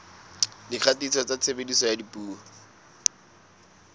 dikgatiso tsa tshebediso ya dipuo